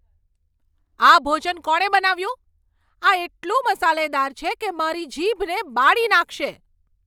આ ભોજન કોણે બનાવ્યું? આ એટલું મસાલેદાર છે કે તે મારી જીભને બાળી નાખશે.